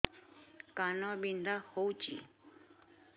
କାନ ବିନ୍ଧା ହଉଛି